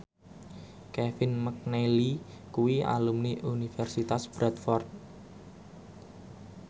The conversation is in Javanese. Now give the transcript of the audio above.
Kevin McNally kuwi alumni Universitas Bradford